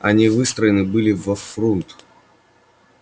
они выстроены были во фрунт